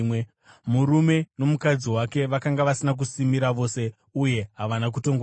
Murume nomukadzi wake vakanga vasina kusimira vose, uye havana kutongonyara.